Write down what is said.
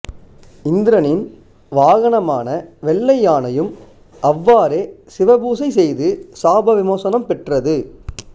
இந்திரனின் வாகனமான வெள்ளையானையும் அவ்வாறே சிவபூசை செய்து சாபவிமோசனம் பெற்றது